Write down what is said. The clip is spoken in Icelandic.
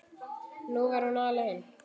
Nú var hún alein.